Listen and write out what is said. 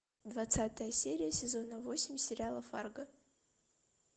двадцатая серия сезона восемь сериала фарго